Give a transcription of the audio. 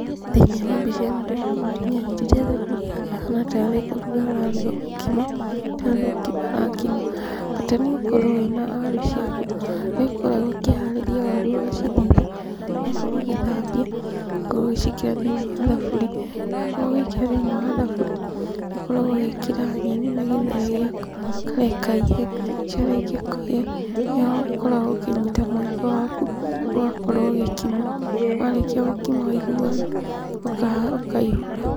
Thĩiniĩ wa mbica ĩno ndĩrona mũtumia anyitĩte thaburia harĩa ahana tarĩ kũruga araruga mũkimo, tarĩ gũkima arakima. Bata nĩ ũkorwo wĩna waru ciaku, harĩa ũkoragwo ũkĩharĩria waru ciaku ũgacithiga, ũgakorwo ũgĩcithambia ũgakorwo ũgĩciĩkĩra thĩiniĩ wa thaburia. Wakorwo ũgĩkĩra thĩiniĩ wa thaburia nĩũkoragwo ũgĩkĩra nyeni na gĩtheri gĩaku, ũkareka ihĩe, ciarĩkia kũhĩa nĩho ũkoragwo ũkĩnyita mũiko waku ũgakorwo ũgĩkima, warĩkia gũkima waiguana ũkaihũra.